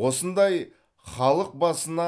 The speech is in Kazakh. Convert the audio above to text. осындай халық басына